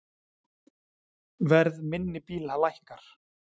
Verð minni bíla lækkar